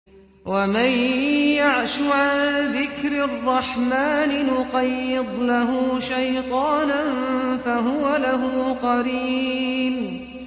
وَمَن يَعْشُ عَن ذِكْرِ الرَّحْمَٰنِ نُقَيِّضْ لَهُ شَيْطَانًا فَهُوَ لَهُ قَرِينٌ